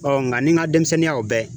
Ɔ nga n ni n ga denmisɛnninya o bɛɛ